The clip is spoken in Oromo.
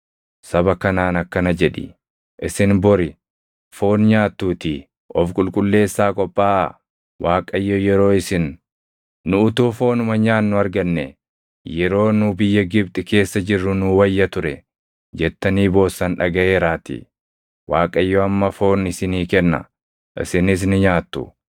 “Saba kanaan akkana jedhi: ‘Isin bori foon nyaattuutii of qulqulleessaa qophaaʼaa. Waaqayyo yeroo isin, “Nu utuu foonuma nyaannu argannee! Yeroo nu biyya Gibxi keessa jirru nuu wayya ture!” jettanii boossan dhagaʼeeraatii. Waaqayyo amma foon isinii kenna; isinis ni nyaattu.